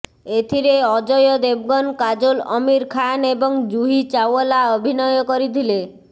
ଏଥିରେ ଅଜୟ ଦେବଗନ କାଜୋଲ ଅମୀର ଖାନ୍ ଏବଂ ଜୁହୀ ଚାଓ୍ବଲା ଅଭିନୟ କରିଥିଲେ